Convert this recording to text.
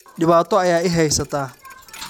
dhibaato ayaa i haysata